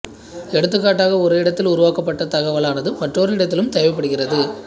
எடுத்துகாட்டாக ஒரு இடத்தில் உருவாக்கப்பட்ட தகவலானது மற்றொரு இடத்திலும் தேவைப்படுகிறது